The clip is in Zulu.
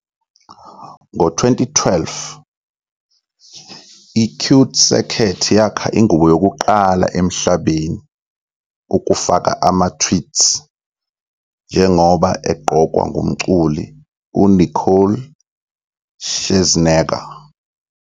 Ngo-2012, i-CuteCircuit yakha ingubo yokuqala emhlabeni ukufaka ama-Tweets, njengoba egqokwa ngumculi uNicole Scherzinger.